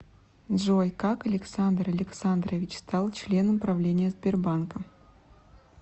джой как александр александрович стал членом правления сбербанка